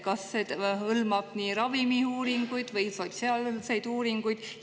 Kas see hõlmab ravimiuuringuid või sotsiaalseid uuringuid?